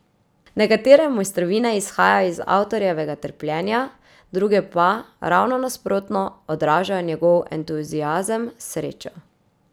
Nekatere mojstrovine izhajajo iz avtorjevega trpljenja, druge pa, ravno nasprotno, odražajo njegov entuziazem, srečo.